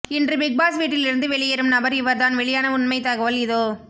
இன்று பிக்பாஸ் வீட்டில் இருந்து வெளியேறும் நபர் இவர் தான் வெளியான உண்மை தகவல் இதோ